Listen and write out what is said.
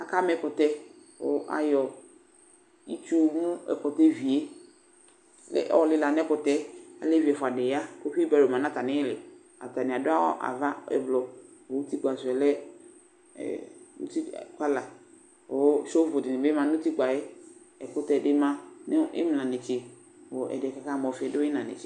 Akama ɛkʋtɛ kʋ ayɔ itsu mu ɛkʋtɛ vie kʋ ayɔ lɩla n'ɛkʋtɛɛ Alevi ɛfʋadɩ ya , kʋ fibɔdɩ ma n'atamɩlɩ atanɩ adʋ awʋ ava ʋblʋ kʋ utikpa sʋɛ lɛ ɛ uti kɔla Kʋ (sovʋ)dɩnɩ bɩ ma n'utikpaɛ ;ɛkʋtɛdɩ ma nʋ ɩmla netse , kʋ ɛdɩɛ k'aka ma ɔfɩ dʋ ɩyɩna netse